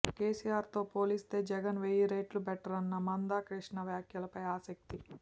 కేసీఆర్ తో పోలిస్తే జగన్ వెయ్యి రెట్లు బెటర్ అన్న మందా కృష్ణ వ్యాఖ్యలపై ఆసక్తి